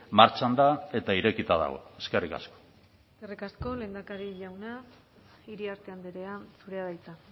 martxan da eta irekita dago eskerrik asko eskerrik asko lehendakari jauna iriarte andrea zurea da hitza